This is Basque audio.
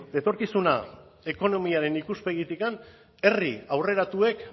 etorkizuna ekonomiaren ikuspegitikan herri aurreratuek